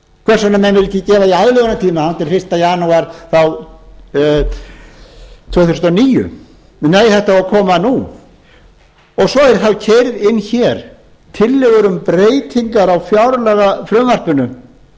hvers vegna menn vilja ekki gefa því aðlögunartíma þangað til fyrsta janúar tvö þúsund og níu nei þetta á að koma nú svo eru þá keyrðar inn hér tillögur um breytingar á fjárlagafrumvarpinu